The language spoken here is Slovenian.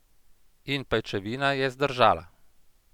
In pajčevina je zdržala!